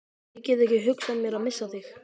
Ég get ekki hugsað mér að missa þig.